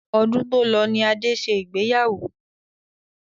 Ọdún tó lọ ní Adé ṣe ìgbéyàwó